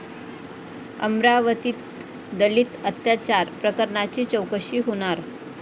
अमरावतीत दलित अत्याचार प्रकरणाची चौकशी होणार